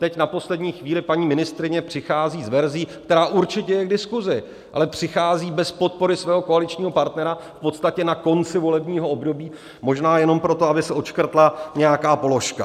Teď na poslední chvíli paní ministryně přichází s verzí, která určitě je k diskuzi, ale přichází bez podpory svého koaličního partnera v podstatě na konci volebního období, možná jenom proto, aby se odškrtla nějaká položka.